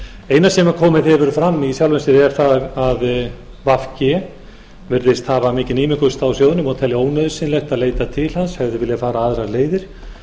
eina sem komið hefur fram í sjálfu sér er það að v g virðist hafa mikinn ímugust á sjóðnum og telja ónauðsynlegt að leita til hans hefðu viljað fara aðrar leiðir